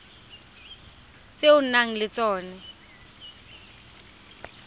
tse o nang le tsona